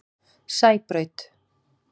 Sæbraut